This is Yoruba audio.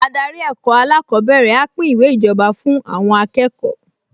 Adarí ẹ̀kọ́ alákọ̀ọ́bẹ̀rẹ̀ á pín ìwé ìjọba fún àwọn akẹ́kọ̀ọ